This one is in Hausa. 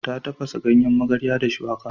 Ta tafasa ganyen magarya da shuwaka.